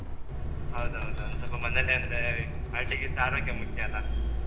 ಹೌದೌದು ಒಂದ್ ಸ್ವಲ್ಪ ಮನೇಲೆ ಅಂದ್ರೇ party ಗಿಂತ ಆರೋಗ್ಯ ಮುಖ್ಯ ಅಲಾ